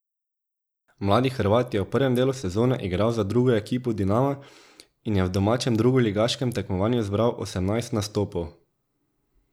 Mladi Hrvat je v prvem delu sezone igral za drugo ekipo Dinama in v domačem drugoligaškem tekmovanju zbral osemnajst nastopov.